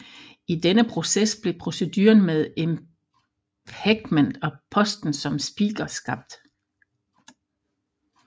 I denne proces blev proceduren med impeachment og posten som Speaker skabt